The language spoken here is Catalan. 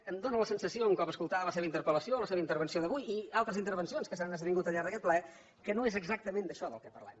em fa la sensació un cop escoltada la seva interpel·lació la seva intervenció d’avui i altres intervencions que s’han esdevingut al llarg d’aquest ple que no és exactament d’això del que parlem